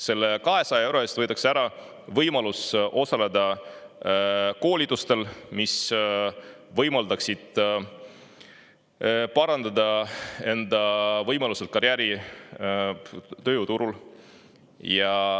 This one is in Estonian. Selle 200 euro eest võetakse ära võimalus osaleda koolitustel, mis võimaldaksid parandada enda karjäärivõimalusi tööjõuturul.